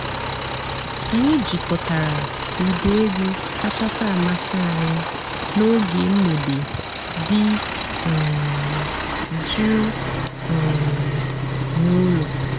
ányị́ jikòtàrà ụ́dị́ ègwú kàchàsị́ àmásị́ ànyị́ n'óge m̀gbèdé dị́ um jụ́ụ́ um n'ụ́lọ́.